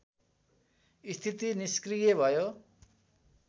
स्थिति निस्क्रिय भयो